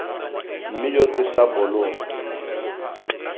me yo ke sa bolong